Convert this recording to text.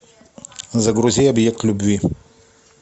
загрузи объект любви